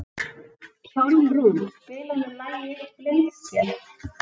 Hjálmrún, spilaðu lagið „Blindsker“.